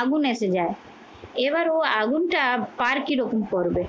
আগুন এসে যায়। এবার ও আগুনটা পার কি রকম করবে?